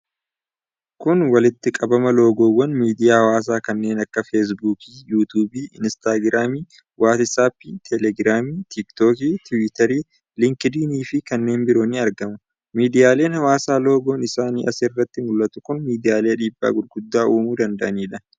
Kun walitti qabama loogoowwan miiidiyaa hawaasaa kanneen akka Feesbuukii, Yuutuubii, Inistaagiraamii, Waatsaappii, Telegiraamii, Tiiktookii, Tiwutarii, Liinkid'iniifii kanneen biroo ni argamu. Miidiyaaleen hawaasaa loogoon isaanii as irratti mul'atu kun miidiyaalee dhiibbaa gurguddaa uumuu danda'anidha.